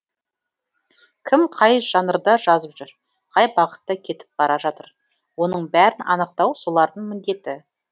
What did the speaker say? кім қай жанрда жазып жүр қай бағытта кетіп бара жатыр оның бәрін анықтау солардың міндеті